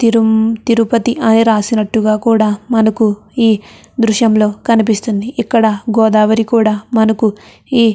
తిరుం తిరుపతి అని రాసినట్టుగా కూడా మనకు ఈ దృశ్యంలో కనిపిస్తుంది. ఇక్కడ గోదావరి కూడా మనకు ఈ --